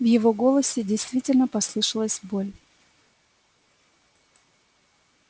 в его голосе действительно послышалась боль